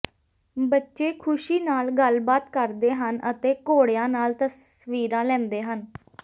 ਬੱਚੇ ਖੁਸ਼ੀ ਨਾਲ ਗੱਲਬਾਤ ਕਰਦੇ ਹਨ ਅਤੇ ਘੋੜਿਆਂ ਨਾਲ ਤਸਵੀਰਾਂ ਲੈਂਦੇ ਹਨ